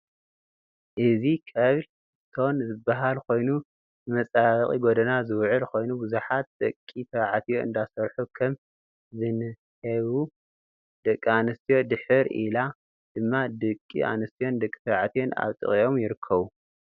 እዚ ከብል እስቶን ዝባሃል ከይኑ ንመፀባበቂ ጎደና ዝውዕል ኮይኑ ብዛሓት ደቂ ተባዕትዮ እዳሰርሑ ከም ዝንሄቡ ደቂ ኣንስትዮን ድሕር ኢላ ድማ ድቂ ኣንስትዮን ደቂ ተባዕትዮን ኣብ ጥቀኦም ይርከቡ።